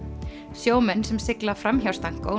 sjómenn sem sigla fram hjá